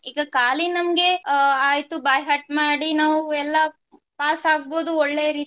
ಈಗ ಕಾಲಿ ನಮ್ಗೆ ಅಹ್ ಆಯ್ತು by heart ಮಾಡಿ ನಾವು ಎಲ್ಲಾ pass ಆಗ್ಬಹುದು ಒಳ್ಳೆ ರೀತಿಯ